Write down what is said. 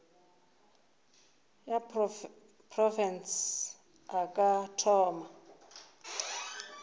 ya profense a ka thoma